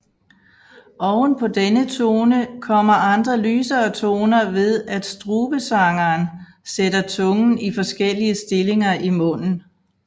Ovenpå denne tone kommer andre lysere toner ved at strubesangeren sætter tungen i forskellige stillinger i munden